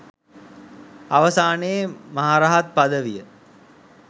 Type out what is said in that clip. අවසානයේ මහරහත් පදවිය